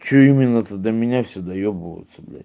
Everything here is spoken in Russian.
что именно то до меня все доебываются блять